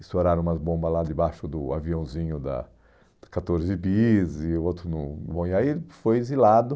Estouraram umas bombas lá debaixo do aviãozinho da catorze Bis e o outro no no Bom Iaí, foi exilado.